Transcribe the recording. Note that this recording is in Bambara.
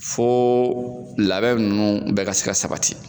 Fɔ labɛn ninnu bɛ ka se ka sabati.